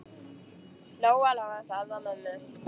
Lóa-Lóa starði á mömmu.